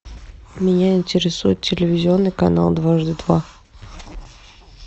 меня интересует телевизионный канал дважды два